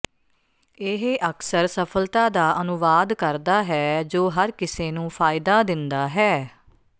ਇਹ ਅਕਸਰ ਸਫਲਤਾ ਦਾ ਅਨੁਵਾਦ ਕਰਦਾ ਹੈ ਜੋ ਹਰ ਕਿਸੇ ਨੂੰ ਫਾਇਦਾ ਦਿੰਦਾ ਹੈ